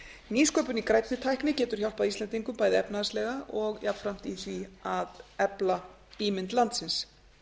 nýsköpun í grænni tækni getur hjálpað íslendingum bæði efnahagslega og jafnframt í því að efla ímynd landsins